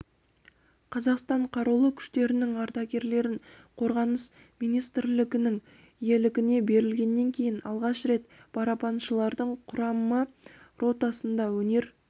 қазақстан қарулы күштерінің ардагерлерін қорғаныс министрлігінің иелігіне берілгеннен кейін алғаш рет барабаншылардың құрама ротасында өнер